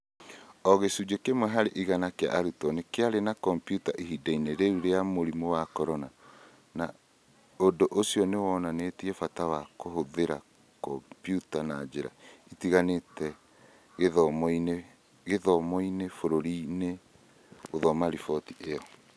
“ O gĩcunjĩ kĩmwe harĩ igana kĩa arutwo nĩ kĩarĩ na kompiuta ihinda-inĩ rĩu rĩa mũrimũ wa Corona, na ũndũ ũcio nĩ wonanĩtie bata wa kũhũthĩra kompiuta na njĩra itiganĩte gĩthomo-inĩ bũrũri-inĩ, “ gũthoma riboti ĩyo.